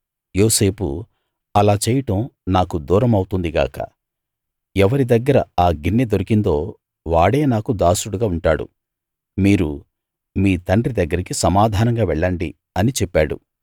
యోసేపు అలా చేయడం నాకు దూరమౌతుంది గాక ఎవరి దగ్గర ఆ గిన్నె దొరికిందో వాడే నాకు దాసుడుగా ఉంటాడు మీరు మీ తండ్రి దగ్గరికి సమాధానంగా వెళ్ళండి అని చెప్పాడు